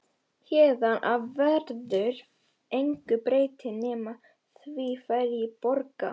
Héðan af verður engu breytt nema því hverjir borga.